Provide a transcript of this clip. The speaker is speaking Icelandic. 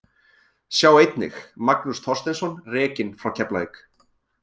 Sjá einnig: Magnús Þorsteinsson rekinn frá Keflavík